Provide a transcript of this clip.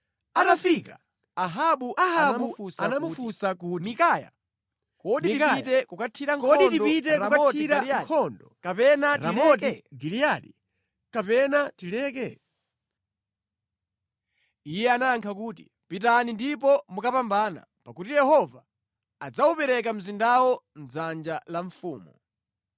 Atafika, Ahabu anamufunsa kuti, “Mikaya, kodi tipite kukathira nkhondo Ramoti Giliyadi, kapena tileke?” Iye anayankha kuti, “Pitani ndipo mukapambana, pakuti Yehova adzawupereka mzindawo mʼdzanja la mfumu.”